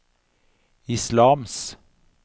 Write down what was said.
islams